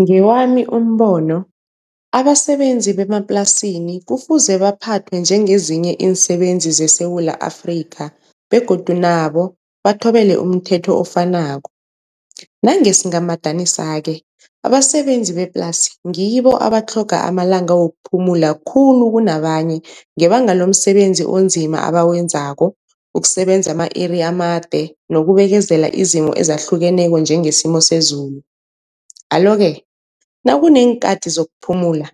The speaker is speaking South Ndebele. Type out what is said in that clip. Ngewami umbono abasebenzi bemaplasini kufuze baphathwe njengezinye iinsebenzi zeSewula Afrika, begodu nabo bathobele umthetho ofanako. Nangesingamadanisa-ke abasebenzi beplasi ngibo abatlhoga amalanga wokuphumula khulu kunabanye, ngebanga lomsebenzi onzima abawenzako, ukusebenza ama-iri amade nokubekezela izimo ezahlukeneko njengesimo sezulu. Alo-ke nakuneenkhathi zokuphumula